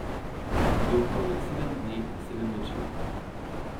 Jokal je sedem dni in sedem noči.